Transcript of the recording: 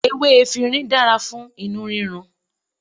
Ewé efinrin dára fún inú rírun.